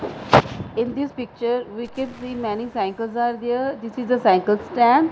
in this picture we can see many cycles are there this is a cycle stand.